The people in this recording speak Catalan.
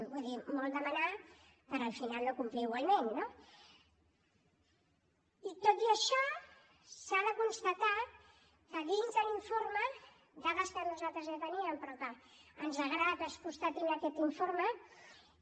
vull dir molt demanar per al final no complir igualment no i tot i això s’ha de constatar que dins de l’informe dades que nosaltres ja teníem però que ens agrada que es constatin en aquest informe